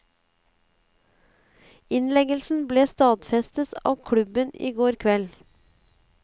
Innleggelsen ble stadfestet av klubben i går kveld.